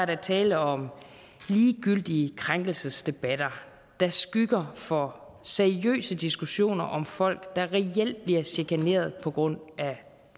der tale om ligegyldige krænkelsesdebatter der skygger for seriøse diskussioner om folk der reelt bliver chikaneret på grund af